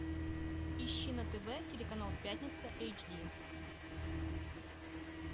ищи на тв телеканал пятница эйч ди